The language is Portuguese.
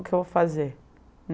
O que eu vou fazer?